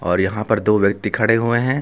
और यहां पर दो व्यक्ति खड़े हुए हैं।